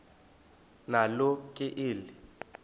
nalo ke eli